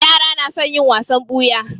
Yara na son yin wasan ɓuya.